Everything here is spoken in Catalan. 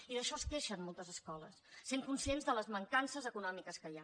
i d’això es queixen moltes escoles sent conscients de les mancances econòmiques que hi ha